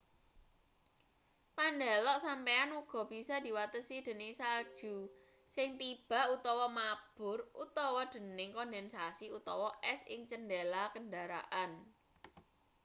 pandelok sampeyan uga bisa diwatesi dening salju sing tiba utawa mabur utawa dening kondensasi utawa es ing cendhela kendaraan